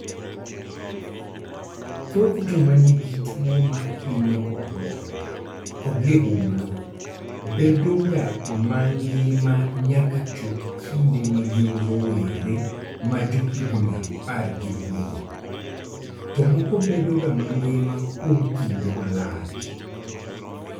Thoth joma nigi tuwo mahinyo obwongo kod liumblu bedoga ma ngima nyaka chop kinde ma gin rowere ma johigini apar gi wiye, to moko bedoga ma ngima kuom kinde malach.